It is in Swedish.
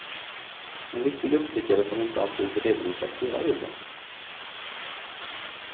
En viktig uppstickare som inte alltid redovisar hela bilden.